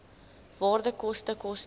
waarde koste koste